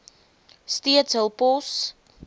steeds hul pos